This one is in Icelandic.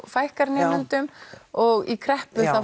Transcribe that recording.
fækkar nemendum og í kreppu